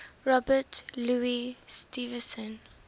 robert louis stevenson